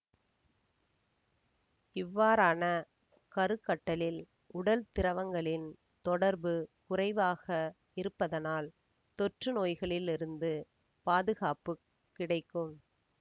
இவ்வாறான கருக்கட்டலில் உடல்திரவங்களின் தொடர்பு குறைவாக இருப்பதனால் தொற்றுநோய்களிலிருந்து பாதுகாப்பு கிடைக்கும்